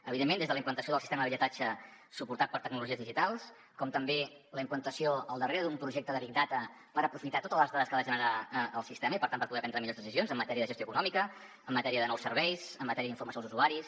evidentment des de la implantació del sistema de billetatge suportat per tecnologies digitals com també la implantació al darrere d’un projecte de big data per aprofitar totes les dades que ha de generar el sistema i per tant per poder prendre millors decisions en matèria de gestió econòmica en matèria de nous serveis en matèria d’informació als usuaris